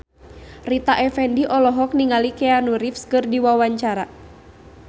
Rita Effendy olohok ningali Keanu Reeves keur diwawancara